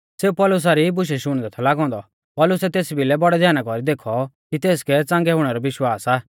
सेऊ पौलुसा री बुशै शुणदै थौ लागौ औन्दौ पौलुसै तेस भिलै बौड़ै ध्याना कौरी देखौ कि तेसकै च़ांगै हुणै रौ विश्वास आ